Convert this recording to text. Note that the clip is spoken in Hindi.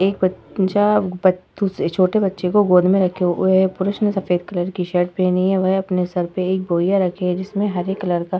एक बच्चा दूसरे छोटे बच्चे को गोद में रखे हुए है। एक पुरुष ने सफ़ेद कलर की शर्ट पहनी हुई है। अपने सर पे एक बोरिया रखे है जिसमें हरे कलर का --